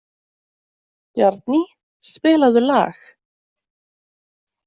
Bjarný, spilaðu lag.